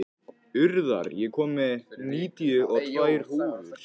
Urðar, ég kom með níutíu og tvær húfur!